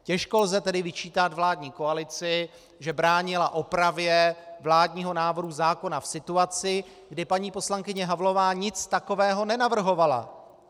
Těžko lze tedy vyčítat vládní koalici, že bránila opravě vládního návrhu zákona v situaci, kdy paní poslankyně Havlová nic takového nenavrhovala.